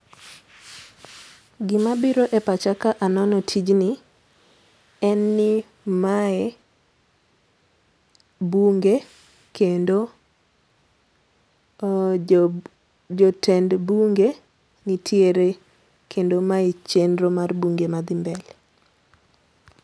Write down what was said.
Gima biro e pacha ka anono tijni, en ni mae bunge kendo jo tend bunge nitiere. Kendo mae chenro mar bunge madhi mbele.